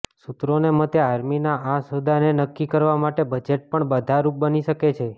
સૂત્રોના મતે આર્મીના આ સોદાને નક્કી કરવા માટે બજેટ પણ બાધારૂપ બની શકે છે